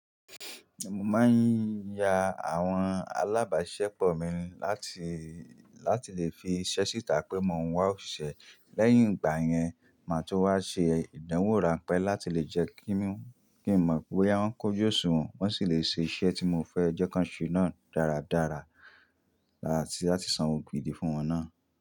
Mo máa ń ya àwọn alábàáṣepọ̀ mi láti, láti lè fi iṣẹ́ síta pé mo ń wá òṣìṣẹ́. Lẹ́yìn ìgbà yẹn, màá tó wá ṣe ìdánwò ránpẹ́ láti lè jẹ́ kí n mọ pé bá ń kojú òṣùwọ̀n wọ́n sì lè ṣe iṣẹ́ tí mo fẹ́ ẹ jẹ́ ká ṣe náà dáradára láti, láti sanwó gbìdí fún wọn náà.